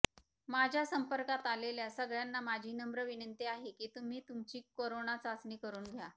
माझ्या संपर्कात आलेल्या सगळ्यांना माझी नम्र विनंती आहे की तुम्ही तुमची करोना चाचणी करून घ्या